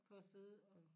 På at sidde og